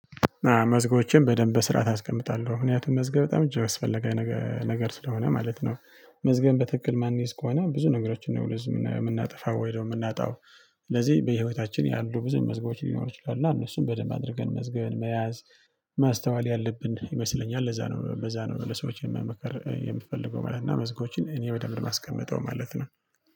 መዝገቦችን በደንብ በስርዓት አስቀምጣለሁ ምክንያቱም መዝገብ በጣም እጅግ አስፈለጊ ነገር ስለሆነ ማለት ነው። መዝገብን በትክክል ማንይዝ ከሆነ ብዙ ነገሮችን ነው ልዝም የምናጠፋው ወይ ደግሞ የምናጣው። ስለዚህ በህይወታችን ያሉ ብዙ መዝገቦች ሊኖሩ ይችላሉ እነሱን በደንብ አድርገን መዝገን መያዝ። ማስተዋል ያለብን ይመስለኛል ለዛ ነው በዛ ነው ለሰዎች የምመከር የምፈልገው ማለት ነው። እና መዝገቦችን እኔ በደንብ ነው የማስቀምጠው ማለት ነው